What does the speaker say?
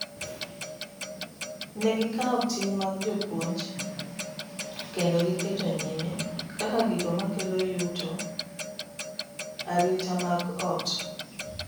ne gikawo ting mag jopuonj kendo giketo nyime(kaka gigo makelo yuto, arita mag ot)